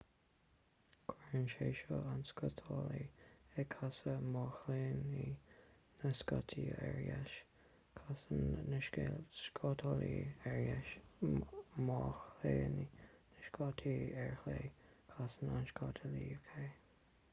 cuireann sé seo an scátálaí ag casadh má chlaonann na scátaí ar dheis casann an scátálaí ar dheis má chlaonann na scátaí ar chlé casann an scátálaí ar chlé